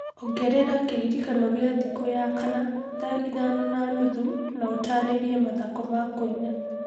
ongerera kĩririkano gĩa thikũ ya kana thaa ithano na nuthu na ũtaarĩrie mathako ma kũina.